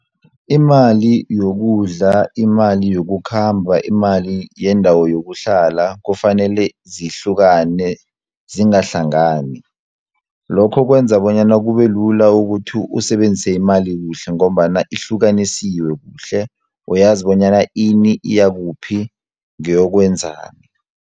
Imali yokudla, imali yokukhamba, imali yendawo yokuhlala kufanele zihlukane zingahlangani, lokho kwenza bonyana kube lula ukuthi usebenzise imali kuhle ngombana ihlukanisiwe kuhle uyazi bonyana ini iyakuphi ngeyokwenzani.